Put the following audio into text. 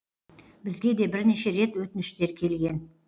бізге де бірнеше рет өтініштер келген